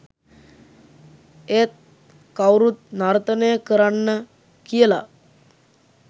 ඒත් කවුරුත් නර්තනය කරන්න කියලා